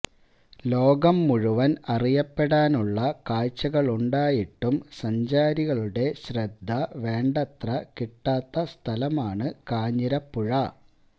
ലോകം മുഴുവൻ അറിയപ്പെടാനുള്ള കാഴ്ചകളുണ്ടായിട്ടും സഞ്ചാരികളുടെ ശ്രദ്ധ വേണ്ടത്ര കിട്ടാത്ത സ്ഥലമാണു കാഞ്ഞിരപ്പുഴ